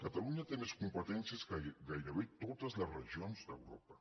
catalunya té més competències que gairebé totes les regions d’europa